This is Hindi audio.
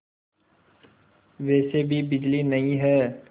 वैसे भी बिजली नहीं है